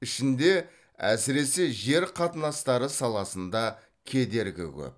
ішінде әсіресе жер қатынастары саласында кедергі көп